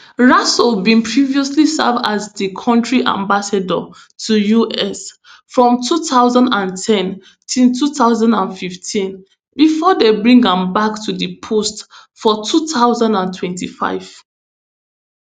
rasool bin previously serve as di kontri ambassador to us from two thousand and ten to two thousand and fifteen bifor dem bring am back to di post for two thousand and twenty-five